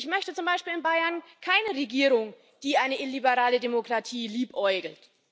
Ich möchte zum Beispiel in Bayern keine Regierung, die mit einer illiberalen Demokratie liebäugelt.